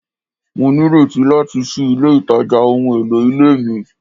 Mo nireti lati ṣii ile itaja ohun elo ile mi